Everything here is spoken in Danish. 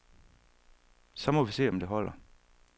Så må vi se om det holder.